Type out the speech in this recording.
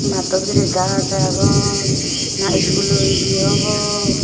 matto bidirey gaaj agon na schoolo ye obw.